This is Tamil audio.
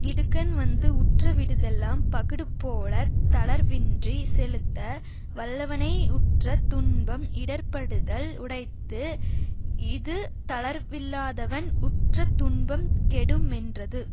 இடுக்கண் வந்து உற்றவிடுதெல்லாம் பகடுபோலத் தளர்வின்றிச் செலுத்த வல்லவனை உற்ற துன்பம் இடர்ப்படுதல் உடைத்து இது தளர்வில்லாதவன் உற்ற துன்பம் கெடுமென்றது